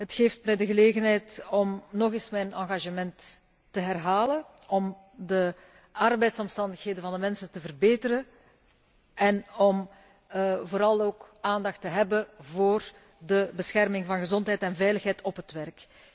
Het geeft mij de gelegenheid om nog eens mijn engagement te herhalen om de arbeidsomstandigheden van de mensen te verbeteren en om vooral ook aandacht te hebben voor de bescherming van de gezondheid en veiligheid op het werk.